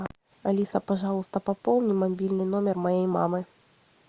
алиса пожалуйста пополни мобильный номер моей мамы